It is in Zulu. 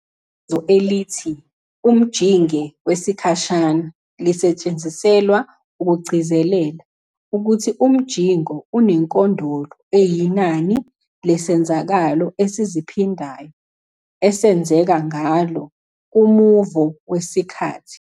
Ibizo elithi "umjinge wesikhashana" lisetshenziselwa ukugcizelela ukuthi umjingo unenkondolo eyinani lesenzakalo esiziphindayo esenzeka ngalo kumuvo wesikhathi.